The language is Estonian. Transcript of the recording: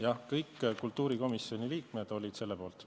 Jah, kõik kultuurikomisjoni liikmed olid selle poolt.